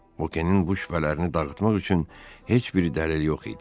Bukenin bu şübhələrini dağıtmaq üçün heç bir dəlil yox idi.